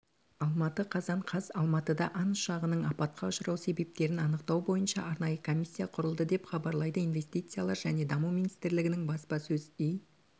алматы қазан қаз алматыда ан ұшағының апатқа ұшырау себептерін анықтау бойынша арнайы комиссия құрылды деп хабарлайды инвестициялар және даму министрлігінің баспасөз